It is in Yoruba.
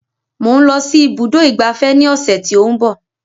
Mò ń lọ sí ibùdó ìgbafẹ́ ní ọ̀sẹ̀ tí ó ń bọ̀